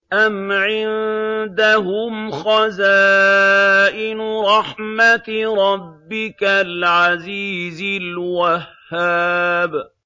أَمْ عِندَهُمْ خَزَائِنُ رَحْمَةِ رَبِّكَ الْعَزِيزِ الْوَهَّابِ